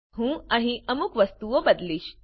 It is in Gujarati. હું અહીં અમુક વસ્તુઓ બદલીશ